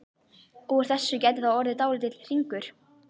Úr þessu gæti þá orðið dálítill hringur.